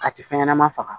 A tɛ fɛn ɲɛnama faga